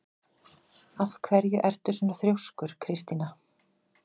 Af hverju ertu svona þrjóskur, Kristína?